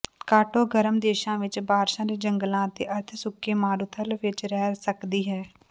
ਕਾਟੋ ਗਰਮ ਦੇਸ਼ਾਂ ਵਿਚ ਬਾਰਸ਼ਾਂ ਦੇ ਜੰਗਲਾਂ ਅਤੇ ਅਰਧ ਸੁੱਕੇ ਮਾਰੂਥਲ ਵਿਚ ਰਹਿ ਸਕਦੀ ਹੈ